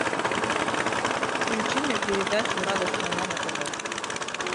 включи мне передачу радость моя на тв